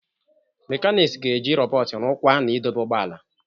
Mechanics ga-eji rọbọt rụkwaa na idobe ụgbọ ala.